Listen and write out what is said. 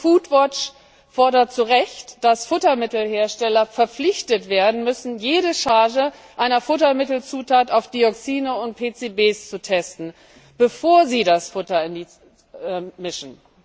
Foodwatch fordert zu Recht, dass Futtermittelhersteller verpflichtet werden müssen, jede Charge einer Futtermittelzutat auf Dioxine und PCB zu testen, bevor sie das Futter mischen.